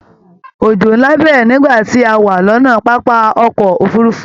Òjò nlá bẹrẹ nígbà tí a wá lọnà pápá ọkọ òfurùnfu